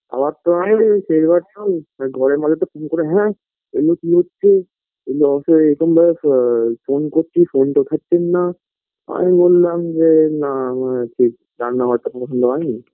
আমার তো ঘরের মধ্যে হ্যাঁ এরকম ভাবে phone করছি phone -টা ধরছেন না আমি বোললাম যে না আমার ঠিক রান্নাঘরটা পছন্দ হয়নি